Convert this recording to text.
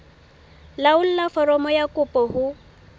laolla foromo ya kopo ho